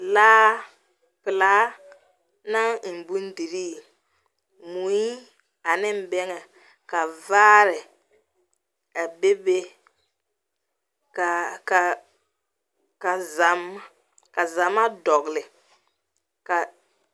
Laa pelaa naŋ eŋ bondirri, mui ane bɛŋɛ ka vaare a be be ka ka ka zam ka zama dɔgele, ka.